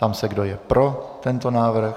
Ptám se, kdo je pro tento návrh.